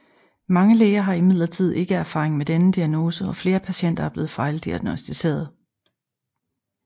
Mange læger har imidlertid ikke erfaring med denne diagnose og flere patienter er blevet fejldiagnosticeret